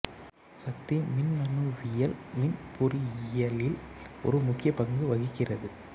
சக்தி மின்னணுவியல் மின் பொறியியலில் ஒரு முக்கியப் பங்கு வகிக்கிறது